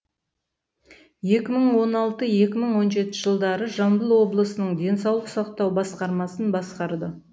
екі мың он алты екі мың он жеті жылдары жамбыл облысының денсаулық сақтау басқармасын басқарды